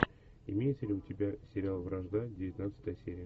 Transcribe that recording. имеется ли у тебя сериал вражда девятнадцатая серия